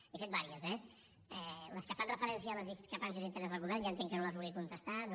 n’he fet diverses eh les que fan referència a les discrepàncies internes al govern ja entenc que no les vulgui contestar no